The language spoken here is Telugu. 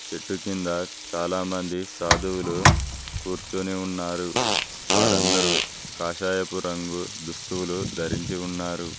చెట్టు కింద చాలామంది సాధువులు కూర్చొని ఉన్నారు వారందరూ కాషాయపు రంగు దుస్తువులు ధరించి ఉన్నారు.